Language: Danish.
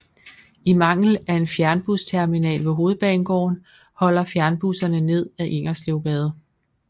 I mangel af en fjernbusterminal ved Hovedbanegården holder fjernbusserne ned ad Ingerslevsgade